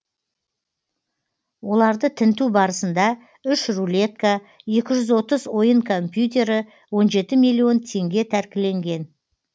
оларды тінту барысында үш рулетка екі жүз отыз ойын компьютері он жеті миллион теңге тәркіленген